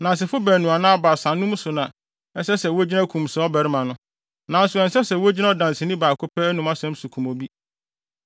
Nnansefo baanu anaa baasa ano asɛm so na ɛsɛ sɛ wogyina kum saa ɔbarima no. Nanso ɛnsɛ sɛ wogyina ɔdanseni baako pɛ ano asɛm so kum obi.